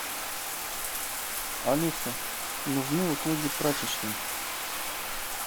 алиса нужны услуги прачечной